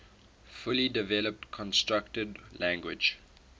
fully developed constructed language